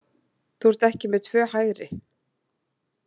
Þú ert ekki með tvö hægri.